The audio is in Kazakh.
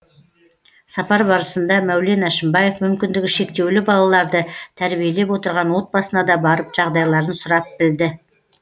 сапар барысында мәулен әшімбаев мүмкіндігі шектеулі балаларды тәрбиелеп отырған отбасына да барып жағдайларын сұрап білді